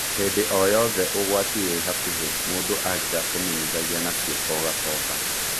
"Hĩndĩ o-yothe ũgwati wĩhakuhĩ mũndũ angĩakũmenyithagia na ciĩko ũgacoka.